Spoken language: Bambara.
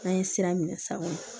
N'an ye sira minɛ sisan